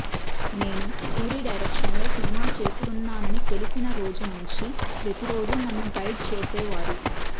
నేను పూరి డైరెక్షన్లో సినిమా చేస్తున్నానని తెలిసిన రోజు నుంచి ప్రతిరోజూ నన్ను గైడ్ చేసేవారు